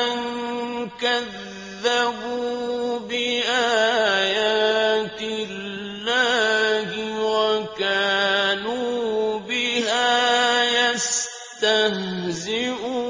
أَن كَذَّبُوا بِآيَاتِ اللَّهِ وَكَانُوا بِهَا يَسْتَهْزِئُونَ